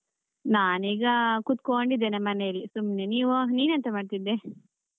ನಾನ್ ಈಗ ಕುತ್ಕೊಂಡಿದ್ದೆನೆ ಮನೆಯಲ್ಲಿ ಸುಮ್ನೆ, ನೀವು ನೀನೆಂತ ಮಾಡ್ತಿದ್ದೆ?